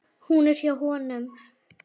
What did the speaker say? Hún er hjá honum.